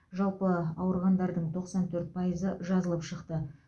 жалпы ауырғандардың тоқсан төрт пайызы жазылып шықты